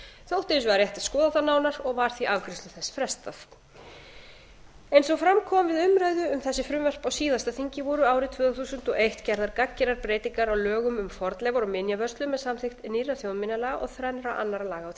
þótti hins vegar rétt að skoða það nánar og var því afgreiðslu þess frestað eins og fram kom við umræðu um þessi frumvörp á síðasta þingi voru árið tvö þúsund og eitt gerðar gagngerar breytingar á lögum um fornleifar og minjavörslu með samþykkt nýrra þjóðminjalaga og þrennra annarra laga á því